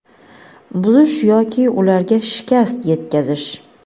buzish yoki ularga shikast yetkazish:.